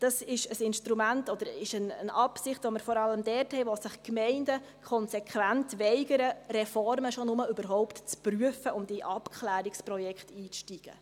Das ist ein Instrument oder eine Absicht, die wir vor allem dort haben, wo sich Gemeinden konsequent weigern, Reformen überhaupt nur zu prüfen und in Abklärungsprojekte einzusteigen.